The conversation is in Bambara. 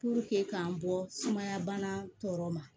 k'an bɔ sumaya bana tɔ ma